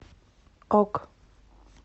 ок